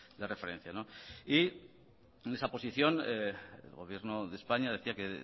de referencia y en esa posición el gobierno de españa decía que